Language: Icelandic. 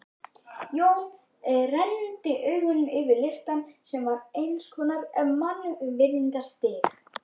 Jón renndi augum yfir listann sem var eins konar mannvirðingastigi.